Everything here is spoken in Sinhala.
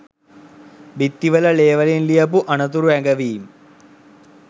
බිත්තිවල ලේ වලින් ලියපු අනතුරු ඇඟවීම්.